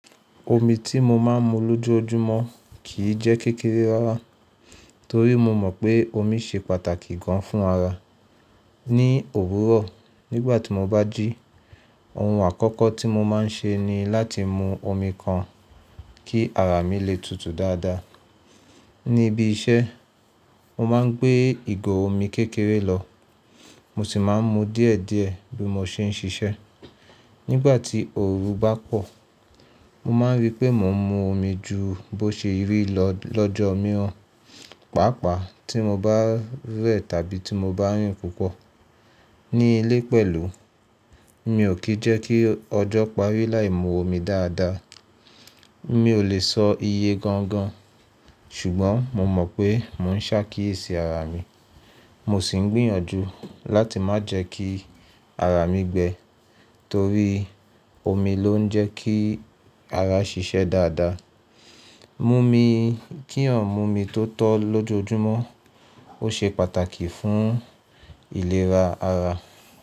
Omi tí mo máa ń mu lójoojúmọ́ kìí jẹ́ kékeré rárá, torí mo mọ̀ pé omi ṣe pàtàkì gan fún ara. Ní òwúrọ̀, nígbà tí mo bá jí, ohun àkọ́kọ́ tí mo máa ń ṣe ni láti mu omi kan kí ara mi lè tutù dáadáa. Ní ibi iṣẹ́, mo máa ń gbé ìgò omi kékeré lọ, mo sì máa ń mu díẹ̀díẹ̀ bí mo ṣe ń ṣiṣẹ́. Nígbà tí òrun bá pọ̀, mo máa rí pé mò ń mu omi ju bó ṣe rí lọ lọ́jọ́ mìíràn, pàápàá tí mo bá rẹ̀ tàbí tí mo bá rìn púpọ̀. Ní ilé pẹ̀lú, mi ò kí jẹ́ kí ọjọ́ parí láì mú omi dáadáa. Mi ò lè sọ iye gangan, ṣùgbọ́n mo mọ̀ pé mò ń ṣákíyèsí ara mi, mo sì ń gbìnyànjú láti má jẹ́ kí ara mi gbẹ, torí omi ló ń jẹ́ kí ara ṣiṣẹ́ dáadáa. Mumi, kí yan múmi tó tọ́ lójoojúmọ́, ó ṣe pàtàkì fún ìlera ara.